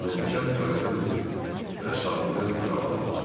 Mən cəld qayığa mindim və sahildən aralandım.